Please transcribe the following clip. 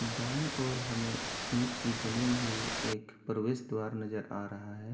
दाई ओर हमे एक ईट की बनी हुई एक प्रवेश द्वार नजर आ रहा है।